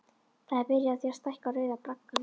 Það er byrjað á því að stækka Rauða braggann.